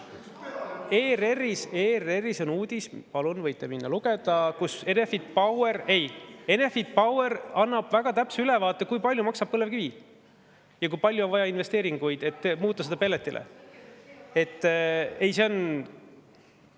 ERR‑is on uudis – palun, võite minna ja lugeda –, kus Enefit Power annab väga täpse ülevaate, kui palju maksab põlevkivi ja kui palju on vaja investeeringuid, et muuta pelletile.